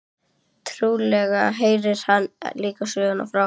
Trúlega heyrir hann líka sögu frá